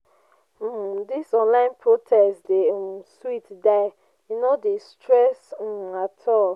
um dis online protest dey um sweet die e no dey stress um at all.